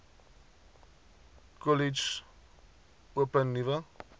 kollege open nuwe